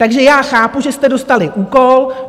Takže já chápu, že jste dostali úkol.